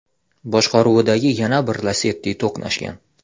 boshqaruvidagi yana bir Lacetti to‘qnashgan.